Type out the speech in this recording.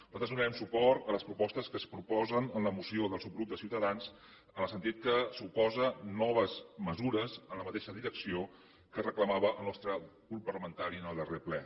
nosaltres donarem suport a les propostes que es proposen en la moció del subgrup ciutadans en el sentit que suposa noves mesures en la mateixa direcció que reclamava el nostre grup parlamentari en el darrer ple